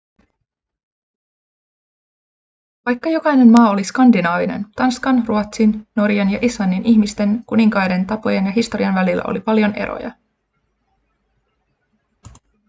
vaikka jokainen maa oli skandinaavinen tanskan ruotsin norjan ja islannin ihmisten kuninkaiden tapojen ja historian välillä oli paljon eroja